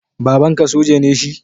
Babanka soja ne shi?